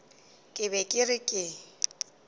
ke be ke re ke